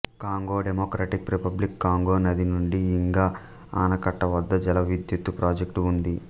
Congo democratic republic Congo నది నుండి Inga ఆనకట్ట వద్ద జల విద్యుత్తు ప్రాజెక్టు ఉంది